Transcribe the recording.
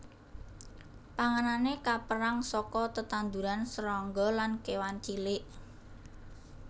Panganané kapérang saka tetanduran srangga lan kéwan cilik